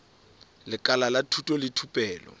lekala la thuto le thupelo